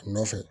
A nɔfɛ